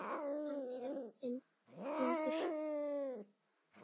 Hann er Tindur.